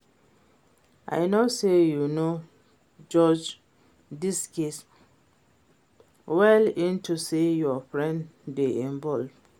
I know say you no judge dis case well unto say your friend dey involved